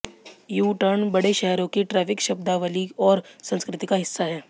you turn बड़े शहरों की ट्रैफिक शब्दावली और संस्कृति का हिस्सा है